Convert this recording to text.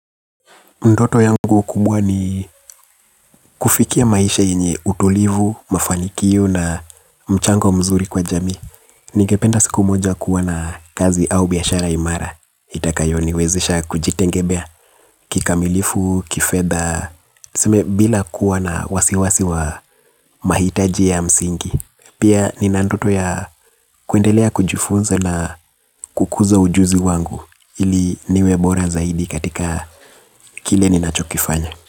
Ndoto yangu kubwa ni kufikia maisha yenye utulivu, mafanikio na mchango mzuri kwa jamii. Ningependa siku moja kuwa na kazi au biashara imara. Itakayo niwezisha kujitengemea kikamilifu, kifedha, tuseme bila kuwa na wasiwasi wa mahitaji ya msingi. Pia nina ndoto ya kuendelea kujifunza na kukuza ujuzi wangu. Ili niwe bora zaidi katika kile ni nacho kifanya.